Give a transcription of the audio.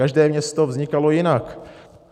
Každé město vznikalo jinak.